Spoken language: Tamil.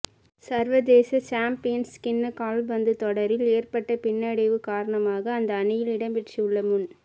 சர்வதேச சம்பியன்ஸ் கிண்ண கால்பந்து தொடறில் ஏற்பட்ட பின்னடைவு காரணமாக அந்த அணியில் இடம்பெற்றுள்ள முன்